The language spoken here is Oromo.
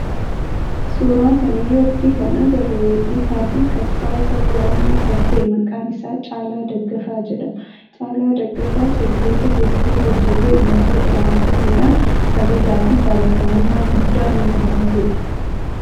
Suuraa kana irratti kan agarru weellisaa fi qabsa'aa saba oromoo kan ta'e maqaan isaa Caalaa Daggafaa jedhama. Caalaa Daggafaa sirboota heddu hojjetee ummata biraan gahuudhan kabajaa fi jaalatamummaa guddaa nama horatedha.